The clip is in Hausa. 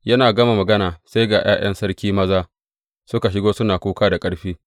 Yana gama magana, sai ga ’ya’yan sarki maza suka shigo suna kuka da ƙarfi.